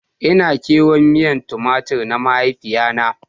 Ina kewan miyan Tumatur na mahaifiya na.